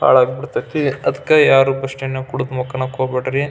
ಭಾಳ ಆಗಿ ಬಿಡತೈತಿ ಅದಕ್ಕೆ ಯಾರು ಬಸ್ಸ್ಟ್ಯಾಂಡ್ ನಲ್ಲಿ ಕುಡಿದು ಮಲಕ್ಕೊಳ್ಳಕ್ಕೆ ಹೋಗಬ್ಯಾಡ್ರಿ.